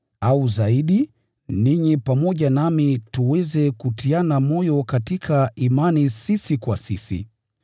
au zaidi, ninyi pamoja nami tuweze kutiana moyo katika imani sisi kwa sisi.